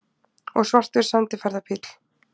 Og svartur sendiferðabíll!